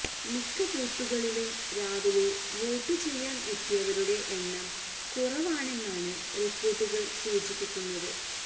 മിക്ക ബൂത്തുകളിലും രാവിലെ വോട്ടുചെയ്യാന് എത്തിയവരുടെ എണ്ണം കുറവാണെന്നാണ് റിപ്പോര്ട്ടുകള് സൂചിപ്പിക്കുന്നത്